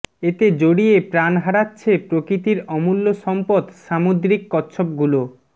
এতে জড়িয়ে প্রাণ হারাচ্ছে প্রকৃতির অমূল্য সম্পদ সামুদ্রিক কচ্ছপগুলো